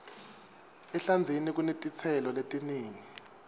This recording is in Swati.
ehlandzeni kunetitselo letinengi